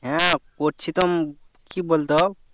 হ্যাঁ করছি তো কি বলতো